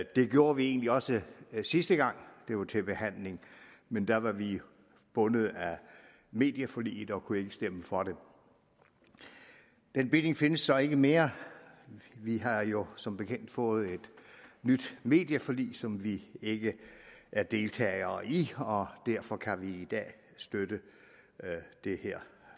det gjorde vi egentlig også sidste gang det var til behandling men der var vi bundet af medieforliget og kunne ikke stemme for det den binding findes så ikke mere vi har jo som bekendt fået et nyt medieforlig som vi ikke er deltagere i og derfor kan vi i dag støtte det her